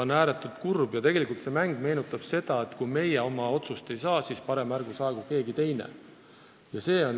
On ääretult kurb, et tegelikult see kõik meenutab seda mängu, kus öeldakse, et kui meie oma tahtmist ei saa, siis ärgu saagu ka keegi teine.